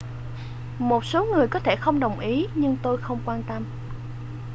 một số người có thể không đồng ý nhưng tôi không quan tâm